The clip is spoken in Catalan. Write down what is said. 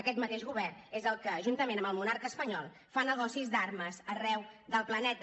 aquest mateix govern és el que juntament amb el monarca espanyol fa negocis d’armes arreu del planeta